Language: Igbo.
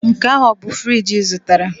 Nke ahụ ọ bụ friji ị zụtara?